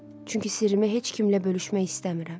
Çünki sirrimi heç kimlə bölüşmək istəmirəm.